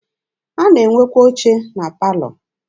A na-enwekwa oche na palọ.